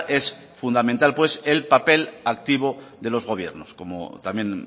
es fundamental pues el papel activo de los gobiernos como también